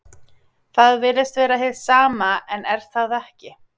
Það virðist vera hið sama en er það ekki.